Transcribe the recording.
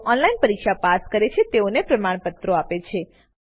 જેઓ ઓનલાઈન પરીક્ષા પાસ કરે છે તેઓને પ્રમાણપત્રો આપે છે